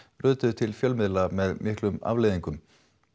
rötuðu til fjölmiðla með miklum afleiðingum